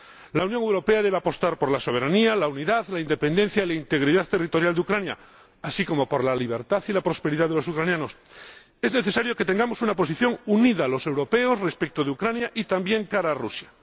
La Unión Europea debe apostar por la soberanía, la unidad, la independencia y la integridad territorial de Ucrania, así como por la libertad y la prosperidad de los ucranianos. Es necesario que los europeos tengamos una posición unida con respecto a Ucrania y también de cara a Rusia.